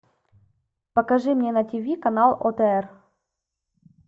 покажи мне на тв канал отр